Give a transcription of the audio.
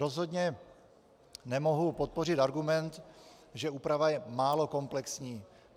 Rozhodně nemohu podpořit argument, že úprava je málo komplexní.